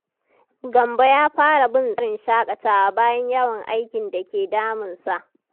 Gambo ya fara bin tsarin shakatawa bayan yawan aikin da ke damunsa.